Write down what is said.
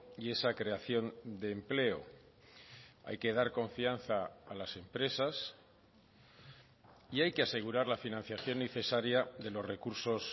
y esa creación de empleo hay que dar confianza a las empresas y hay que asegurar la financiación necesaria de los recursos